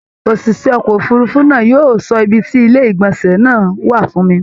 ÒṢìṣẹ́ ọkọ̀ òfurufú náà yóò sọ ibi tí ilé ìgbọ̀nsẹ wà fún mi